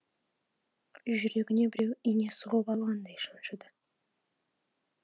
жүрегіне біреу ине сұғып алғандай шаншыды